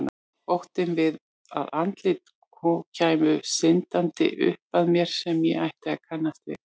Óttinn við að andlit kæmu syndandi upp að mér sem ég ætti að kannast við.